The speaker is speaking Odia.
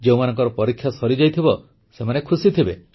ଯେଉଁମାନଙ୍କର ପରୀକ୍ଷା ସରିଯାଇଥିବ ସେ ଖୁସି ଥିବେ